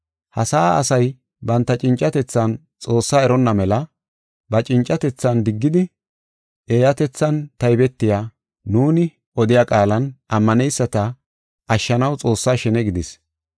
Ha sa7aa asay banta cincatethan Xoossa eronna mela ba cincatethan diggidi, eeyatethan taybetiya, nuuni odiya qaalan ammaneyisata ashshanaw Xoossa shene gidis.